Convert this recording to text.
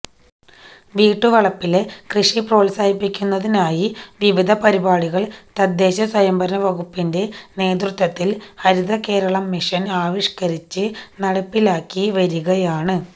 വീട്ടുവളപ്പിലെ കൃഷി പ്രോത്സാഹിപ്പിക്കുന്നതിനായി വിവിധ പരിപാടികൾ തദ്ദേശ സ്വയംഭരണ വകുപ്പിന്റെ നേതൃത്വത്തിൽ ഹരിതകേരളം മിഷൻ ആവിഷ്കരിച്ച് നടപ്പിലാക്കി വരികയാണ്